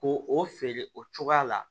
Ko o feere o cogoya la